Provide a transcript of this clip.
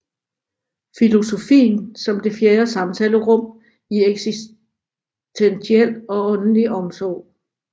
Filosofien som det fjerde samtalerum i eksistentiel og åndelig omsorg